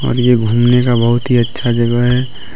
और ये घूमने का बहुत ही अच्छा जगह है।